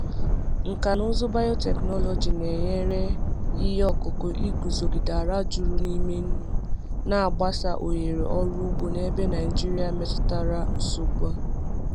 Nkà na ụzụ biotechnology na-enyere ihe ọkụkụ iguzogide ala juru n’ime nnu, na-agbasa ohere ọrụ ugbo n’ebe Naijiria metụtara nsogbu a.